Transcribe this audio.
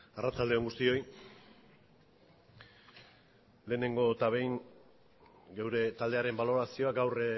arratsalde on guztioi lehenengo eta behin geure taldearen balorazioa gaur